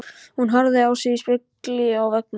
Hún horfði á sig í spegli á veggnum.